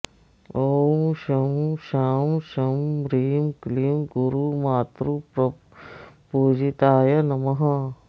ॐ शं शां षं ह्रीं क्लीं गुरुमातृप्रपूजिताय नमः